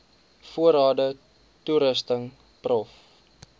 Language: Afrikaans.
voorrade toerusting prof